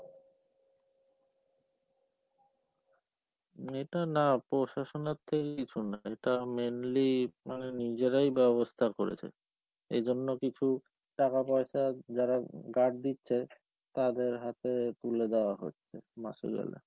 এটা না প্রশাসনের থেকে কিছু না, এটা mainly মানে নিজেরাই ব্যবস্থা করেছে, এজন্য কিছু টাকাপয়সা যারা guard দিচ্ছে তাদের হাতে তুলে দেওয়া হচ্ছে,